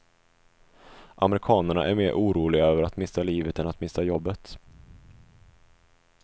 Amerikanerna är mer oroliga över att mista livet än att mista jobbet.